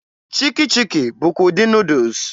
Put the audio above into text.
Chiki chiki bụkwa ụdị Nuudus.